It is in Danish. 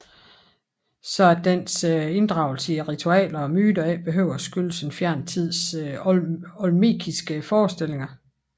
Så at dens inddragelse i ritualer og myter ikke behøver at skyldes en fjern tids olmekiske forestillinger